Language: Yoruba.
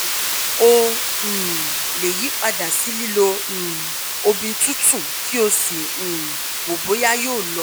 o um lè yí padà sí lílo um omi tútù kí o sì um wo bóyá yóò lọ